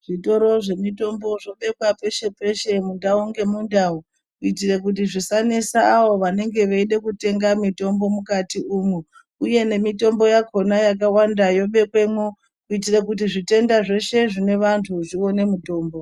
Zvitoro zvemutombo zvobekwa peshe peshe mundau ngemudau kuitira kuti zvisanesa avo vanenge veida kutenga mutombo mukatimo uye nemutombo yakona yakawanda yobekwamo kuitira kuti zvitenda zveshe zvinevanhu zvione mutombo.